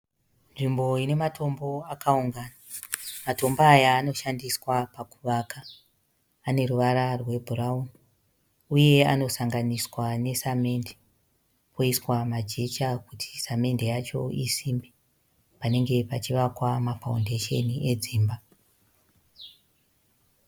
Nzvimbo inematombo akaunganidzwa, matombo aya anoshandiswa pakuvaka ane ruvara rwebhurauni uye anosanganiswa nesemende oiswa majecha kuti samende yacho isimbe. Panenge pachivakwa ma(foundation) edzimba.